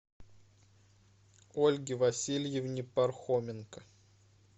ольге васильевне пархоменко